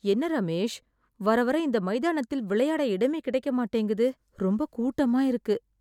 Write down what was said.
என்ன ரமேஷ், வர வர இந்த மைதானத்தில் விளையாட இடமே கிடைக்க மாட்டேங்குது. ரொம்ப கூட்டமா இருக்கு.